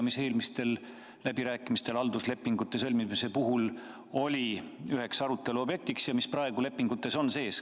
Eelmistel läbirääkimistel halduslepingute sõlmimise puhul oli see üheks arutelu objektiks ja on praegu lepingutes sees.